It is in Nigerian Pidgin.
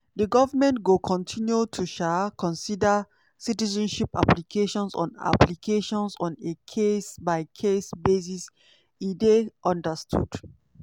di goment go continue to um consider citizenship applications on applications on a case-by-case basis e dey understood.